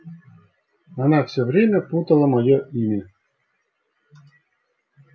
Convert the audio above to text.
она все время путала моё имя